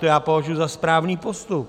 To já považuji za správný postup.